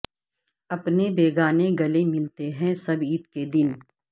اپنے بیگانے گلے ملتے ہیں سب عید کے دن